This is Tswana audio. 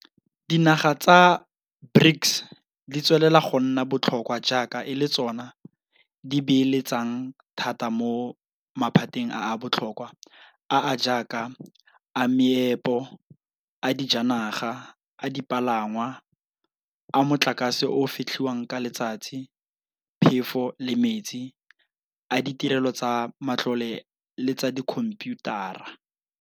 Dinaga tsa BRICS di tswelela go nna botlhokwa jaaka e le tsona di beeletsang thata mo maphateng a a botlhokwa a a jaaka a meepo, a dijanaga, a dipalangwa, a motlakase o o fetlhiwang ka letsatsi, phefo le metsi, a ditirelo tsa matlole le tsa dikhomphiutara.